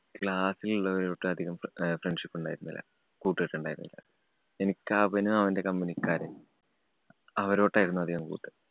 class ല്‍ ഉള്ളവരു ആയിട്ട് അധികം friendship ഉണ്ടായിരുന്നില്ല. കൂട്ടുകെട്ട് ഉണ്ടായിരുന്നില്ല. എനിക്ക് അവനും, അവന്‍റെ company ക്കാരെ അവരോട്ടായിരുന്നു അധികം കൂട്ട്.